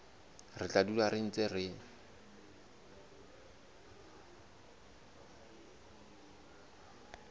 re tla dula re ntse